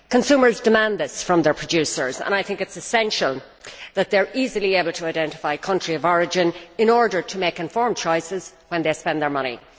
Consumers demand this from their producers and I think it is essential that they are easily able to identify country of origin in order to make informed choices when they spend their money.